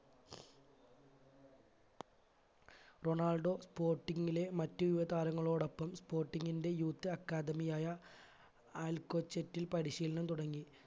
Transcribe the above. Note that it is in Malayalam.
റൊണാൾഡോ sporting ലെ മറ്റു യുവ താരങ്ങളോടൊപ്പം sporting ന്റെ youth academy ആയ അൽകോചേറ്റിൽ പരിശീലനം തുടങ്ങി